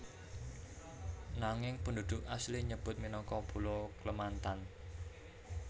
Nanging penduduk asli nyebut minangka pulo Klemantan